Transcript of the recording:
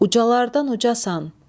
Ucalardan ucalsan.